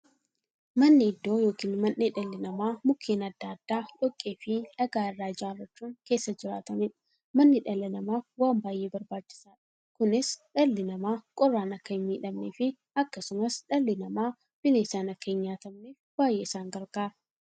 Manni iddoo yookiin mandhee dhalli namaa Mukkeen adda addaa, dhoqqeefi dhagaa irraa ijaarachuun keessa jiraataniidha. Manni dhala namaaf waan baay'ee barbaachisaadha. Kunis, dhalli namaa qorraan akka hinmiidhamneefi akkasumas dhalli namaa bineensaan akka hinnyaatamneef baay'ee isaan gargaara.